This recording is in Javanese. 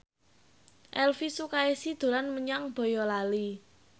Elvy Sukaesih dolan menyang Boyolali